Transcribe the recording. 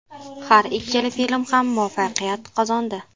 Har ikkala film ham muvaffaqiyat qozondi.